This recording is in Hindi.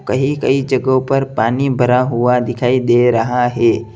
कहीं कहीं जगहों पर पानी बरा हुआ दिखाई दे रहा है।